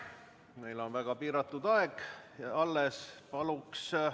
Meil on väga vähe aega alles jäänud.